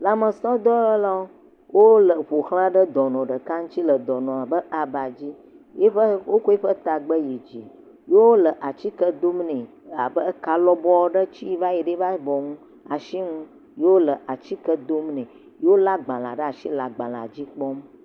Lãmesẽdɔwɔlawo, wole ƒoxla dɔnɔ ɖeka le aba dzi, wotsɔ eƒe ta gbe yi dzi ye wole atike dom nɛ abe eka lɔbɔɔ ɖe tsi eƒe alɔ ŋu ye wole atike dom nɛ, wolé agbalẽ ɖe asi le agbalẽ dzi kpɔm.